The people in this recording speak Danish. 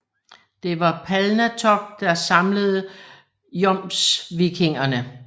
Det var Palnatoke der samlede jomsvikingerne